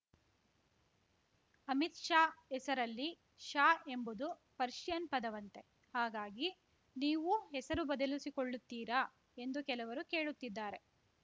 ಅಮಿತ್‌ ಶಾ ಹೆಸರಲ್ಲಿ ಶಾ ಎಂಬುದು ಪರ್ಷಿಯನ್‌ ಪದವಂತೆ ಹಾಗಾಗಿ ನೀವೂ ಹೆಸರು ಬದಲಿಸಿಕೊಳ್ಳುತ್ತೀರಾ ಎಂದು ಕೆಲವರು ಕೇಳುತ್ತಿದ್ದಾರೆ